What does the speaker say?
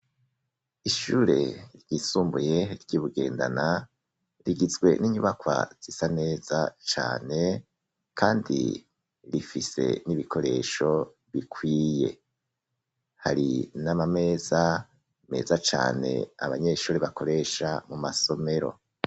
Ishure ryisumbuye ry'ibugendana rigizwe n'inyubako zisa neza cane kandi rifise n'ibikoresho bikwiye, hari n'amameza meza cane abanyeshure bakoresha mu masomero.